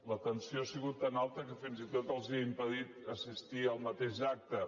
la tensió ha sigut tan alta que fins i tot els ha impedit assistir al mateix acte